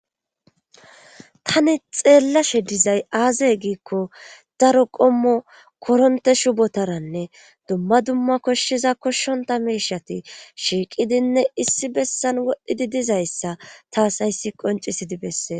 tani xeellashe dizay aazaye giikko daro qommo koronte shubotaranne dumma dumma koshshiza koshshonta meishati shiiqidinne issi bessan wodhidi dizayssa taas hayssi qoncisidi bessee